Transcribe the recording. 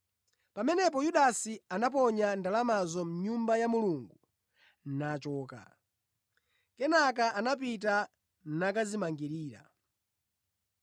Pamenepo Yudasi anaponya ndalamazo mʼNyumba ya Mulungu nachoka. Kenaka anapita nakadzimangirira.